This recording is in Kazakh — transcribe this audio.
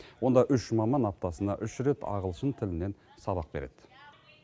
онда үш маман аптасына үш рет ағылшын тілінен сабақ береді